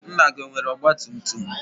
Nna gị, enwere ọgbatumtum?